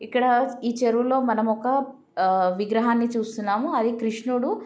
ఇక్కడ ఈ చెరువులో మనం ఒక విగ్రహాన్ని చూస్తున్నాము అది కృష్ణుడు --